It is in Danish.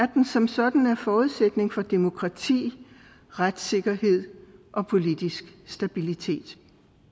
den som sådan er forudsætningen for demokrati retssikkerhed og politisk stabilitet